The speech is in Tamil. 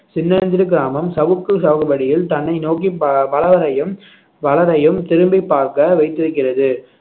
சின்னஞ்சிறு கிராமம் சவுக்கு சாகுபடியில் தன்னை நோக்கி பலரையும் திரும்பிப் பார்க்க வைத்திருக்கிறது